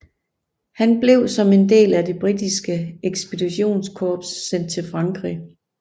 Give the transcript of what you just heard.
Han blev som en del af det britiske ekspeditionskorps sendt til Frankrig